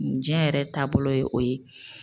Diɲɛ yɛrɛ taabolo ye o ye